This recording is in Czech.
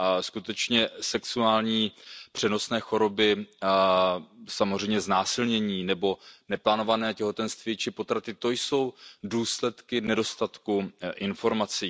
Skutečně sexuální přenosné choroby, samozřejmě znásilnění nebo neplánované těhotenství či potraty, to jsou důsledky nedostatku informací.